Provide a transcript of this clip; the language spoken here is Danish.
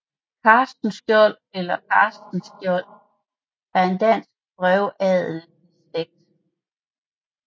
Castenschiold eller Castenskiold er en dansk brevadelsslægt